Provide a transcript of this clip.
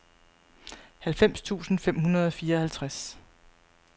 halvfems tusind fem hundrede og fireoghalvtreds